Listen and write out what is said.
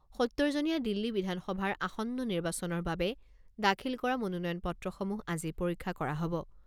সত্তৰ জনীয়া দিল্লী বিধানসভাৰ আসন্ন নিৰ্বাচনৰ বাবে দাখিল কৰা মনোনয়ন পত্ৰসমূহ আজি পৰীক্ষা কৰা হ'ব।